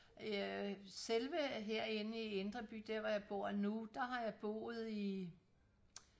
øh selve her inde i indre by der hvor jeg bor nu der har jeg boet i